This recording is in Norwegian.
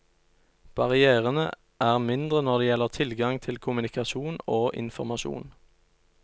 Barrièrene er mindre når det gjelder tilgang til kommunikasjon og informasjon.